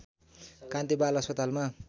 कान्ति बाल अस्पतालमा